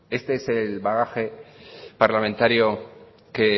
este es el bagaje parlamentario que